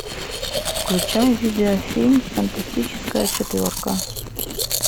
включай видео фильм фантастическая четверка